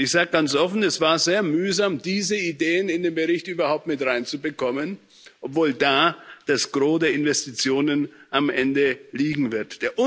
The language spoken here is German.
Ich sage ganz offen, es war sehr mühsam, diese Ideen in dem Bericht überhaupt mit reinzubekommen, obwohl da das Gros der Investitionen am Ende liegen wird.